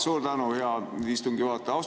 Suur tänu, hea istungi juhataja!